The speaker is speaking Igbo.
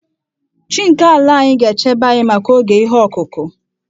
Chi nke ala anyị ga-echebe anyị maka oge ihe ọkụkụ.